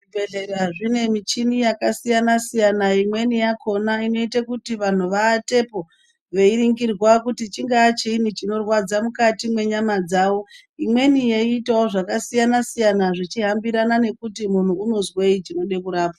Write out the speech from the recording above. Zvibhedhlera zvine mishini yakasiyana siyana imweni yakona inoite kuti vantu vawatepo veiningirwa kuti chingaa chiini chinorwadza mukati mwenyama dzawo imweni yeitawo zvakasiyana siyana zvichihambirana nekuti munhu unozwei chinode kurapwa.